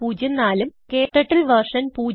ഉം ക്ടർട്ടിൽ വെർഷൻ